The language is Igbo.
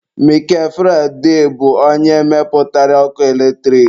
Mikel Faraday bụ onye mepụtara ọkụ eletrik.